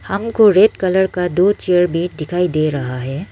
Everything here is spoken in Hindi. हमको रेड कलर का दो चेयर भी दिखाई दे रहा है।